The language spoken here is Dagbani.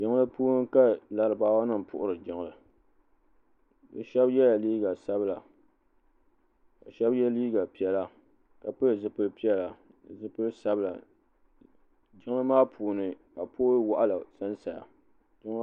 Jijli puuni ka laribaawa nima puhiri jiŋli bɛ sheba yela liiga sabila ka sheba ye liiga piɛla ka pili zipil'piɛla ni zipil'sabila jiŋli maa puuni ka pooli waɣala sansaya.